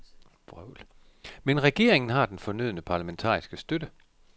Men regeringen har den fornødne parlamentariske støtte.